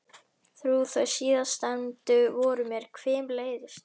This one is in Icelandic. Þrjú þau síðastnefndu voru mér hvimleiðust.